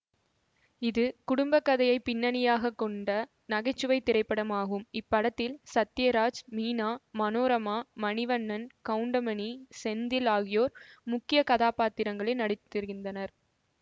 இது குடும்பக் கதையை பின்னணியாகக் கொண்ட நகை சுவை திரைப்படமாகும் இப்படத்தில் சத்யராஜ் மீனா மனோரமா மணிவண்ணன் கவுண்டமணி செந்தில் ஆகியோர் முக்கிய கதாபாத்திரங்களில் நடித்திருந்தனர்